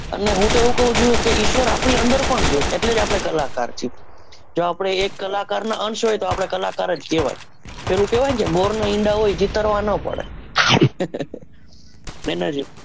અને હું તો એવું કવું છુ કે ઈશ્વર આપણે અંદર પણ છે એટલે આપડે કલાકાર છીએ જો આપણે એક કલાકાર ના અંશ હોય તો આપણે કલાકાર જ કહવાય પેલું કહવાય ને કે મોર ના ઈંડા હોય એ ચીતરવા ના પડે એના જેવું